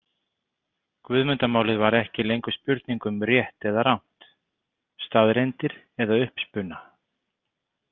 Guðmundarmálið var ekki lengur spurning um rétt eða rangt, staðreyndir eða uppspuna.